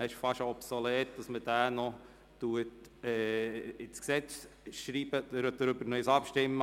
Es ist fast schon obsolet, darüber abzustimmen, ob Sie den Zusatz gemäss dem Antrag FDP/Saxer ins Gesetz schreiben wollen.